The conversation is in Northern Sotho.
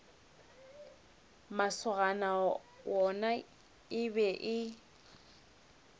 masogana yona e be e